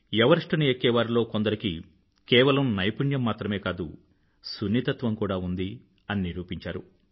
ఎవరెస్టుని ఎక్కేవారిలో కొందరికి కేవలం నైపుణ్యం మాత్రమే కాదు సున్నితత్వం కూడా ఉంది అని నిరూపించారు